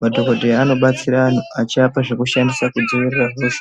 Madhokodheya anobatsira antu achiapa zvekushandisa kudziirira hosha.